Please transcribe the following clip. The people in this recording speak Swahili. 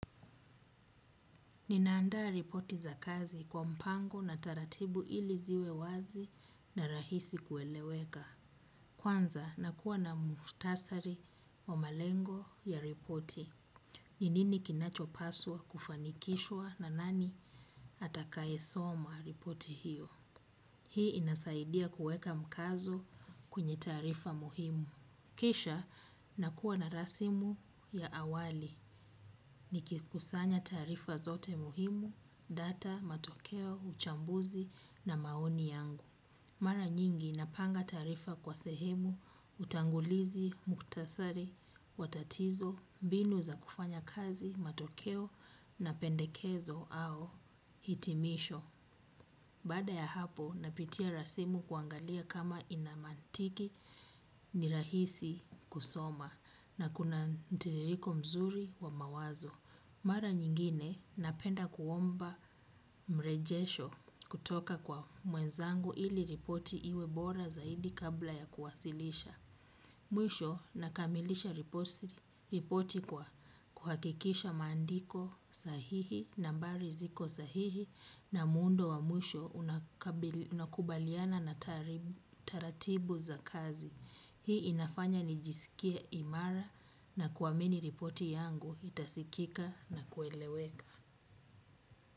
Nina andaa ripoti za kazi kwa mpango na taratibu ili ziwe wazi na rahisi kueleweka. Kwanza nakuwa na muhtasari wa malengo ya ripoti. Ni nini kinachopaswa kufanikishwa na nani atakaye soma ripoti hiyo. Hii inasaidia kueka mkazo kwenye tarifa muhimu. Kisha nakuwa na rasimu ya awali. Ni kikusanya taarifa zote muhimu, data, matokeo, uchambuzi na maoni yangu. Mara nyingi napanga taarifa kwa sehemu, utangulizi, muktasari, wa tatizo, mbinu za kufanya kazi, matokeo na pendekezo au hitimisho. Baada ya hapo napitia rasimu kuangalia kama ina mantiki ni rahisi kusoma na kuna mtiririko mzuri wa mawazo mara nyingine napenda kuomba mrejesho kutoka kwa mwenzangu ili ripoti iwe bora zaidi kabla ya kuwasilisha. Mwisho nakamilisha ripoti kwa kuhakikisha maandiko sahihi nambari ziko sahihi na muundo wa mwisho unakubaliana na taratibu za kazi. Hii inafanya nijisikie imara na kuamini ripoti yangu itasikika na kueleweka.